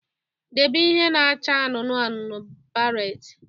Debe ihe na-acha anụnụ anụnụ baret